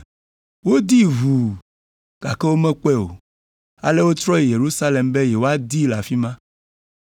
Wodii ʋuu, gake womekpɔe o, ale wotrɔ yi Yerusalem be yewoadii le afi ma.